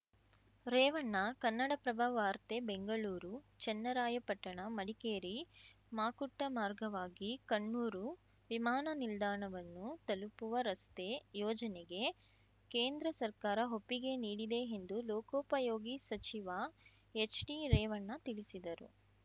ರೇವಣ್ಣ ಕನ್ನಡಪ್ರಭ ವಾರ್ತೆ ಬೆಂಗಳೂರು ಚನ್ನರಾಯಪಟ್ಟಣಮಡಿಕೇರಿಮಾಕುಟ್ಟಮಾರ್ಗವಾಗಿ ಕಣ್ಣೂರು ವಿಮಾನ ನಿಲ್ದಾಣವನ್ನು ತಲುಪುವ ರಸ್ತೆ ಯೋಜನೆಗೆ ಕೇಂದ್ರ ಸರ್ಕಾರ ಒಪ್ಪಿಗೆ ನೀಡಿದೆ ಎಂದು ಲೋಕೋಪಯೋಗಿ ಸಚಿವ ಎಚ್‌ಡಿ ರೇವಣ್ಣ ತಿಳಿಸಿದರು